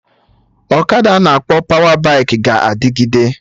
Ọkada ana akpọ pawa baikị ga-adịgide